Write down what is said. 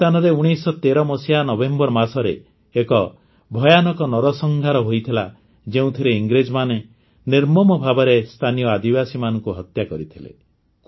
ଏହି ସ୍ଥାନରେ ୧୯୧୩ ମସିହା ନଭେମ୍ବର ମାସରେ ଏକ ଭୟାନକ ନରସଂହାର ହୋଇଥିଲା ଯେଉଁଥିରେ ଇଂରେଜମାନେ ନିର୍ମମ ଭାବରେ ସ୍ଥାନୀୟ ଆଦିବାସୀମାନଙ୍କୁ ହତ୍ୟା କରିଥିଲେ